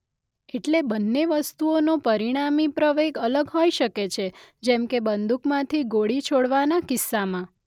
એટલે બંને વસ્તુઓનો પરિણામી પ્રવેગ અલગ હોઈ શકે છે જેમ કે બંદૂકમાંથી ગોળી છોડવાના કિસ્સામાં